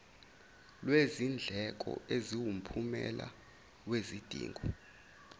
lwezindleko eziwumphumela wezidingo